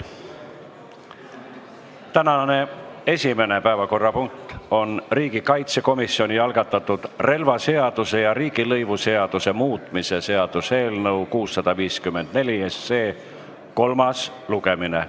Tänane esimene päevakorrapunkt on riigikaitsekomisjoni algatatud relvaseaduse ja riigilõivuseaduse muutmise seaduse eelnõu kolmas lugemine.